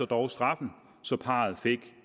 dog straffen så parret fik